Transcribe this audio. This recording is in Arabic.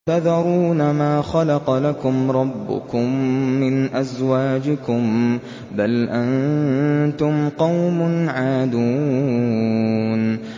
وَتَذَرُونَ مَا خَلَقَ لَكُمْ رَبُّكُم مِّنْ أَزْوَاجِكُم ۚ بَلْ أَنتُمْ قَوْمٌ عَادُونَ